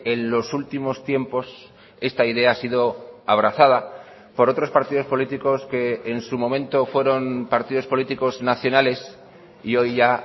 en los últimos tiempos esta idea ha sido abrazada por otros partidos políticos que en su momento fueron partidos políticos nacionales y hoy ya